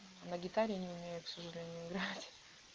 на гитаре не умею к сожалению играть